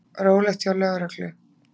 Rólegt hjá lögreglu